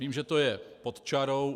Vím, že to je pod čarou.